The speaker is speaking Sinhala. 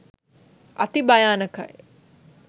අති භයානකයි.